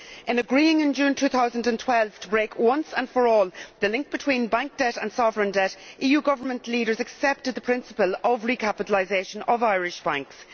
In agreeing, in June 2012, to break once and for all the link between bank debt and sovereign debt, EU government leaders accepted the principle of the recapitalisation of Irish banks.